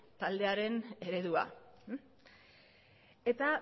taldearen eredua eta